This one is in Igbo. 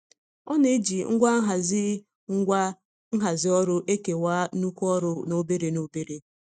Ọ na-eji ngwa nhazi ngwa nhazi ọrụ ekewa nnukwu ọrụ n'obere n'obere.